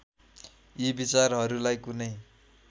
यी विचारहरूलाई कुनै